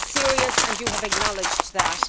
It is serious, and you have acknowledged that.